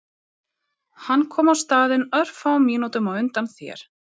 Hann kom á staðinn örfáum mínútum á undan þér